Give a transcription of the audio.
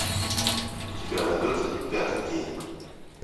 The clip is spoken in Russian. у тебя найдется пятый день